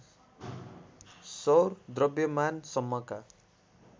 सौर द्रव्यमान सम्मका